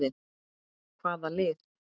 Hvaða lið?